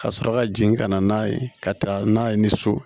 Ka sɔrɔ ka jigin ka na n'a ye ka taa n'a ye ni so